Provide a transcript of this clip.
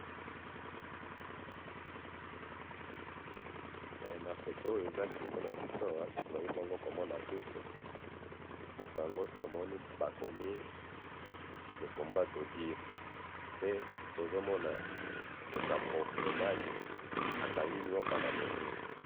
na photo oyo eza liboso nabiso awa tozali bongo komona buku, buku yango tomoni bakomi le combat d'odiri, pe tozomona ndeko ya mobali akangi nyoka na moto